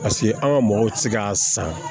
Paseke an ka mɔgɔw tɛ se k'a san